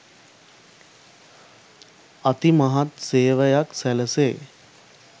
අතිමහත් සේවයක් සැලැසේ.